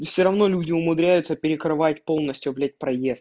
и все равно люди умудряются перекрывать полностью блядь проезд